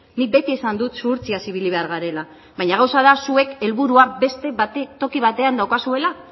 nik beti esan dut zuhurtziaz ibili behar garela baina gauza da zuek helburua beste toki batean daukazuela